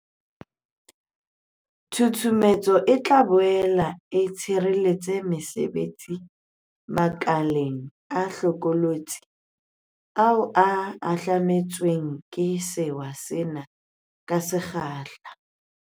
Tshusumetso e tla boele e tshireletsa mesebetsi makeleng a hlokolotsi ao a hahlame tsweng ke sewa sena ka se kgahla.